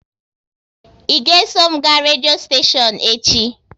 Ị ga eso m ga redio steshion echi?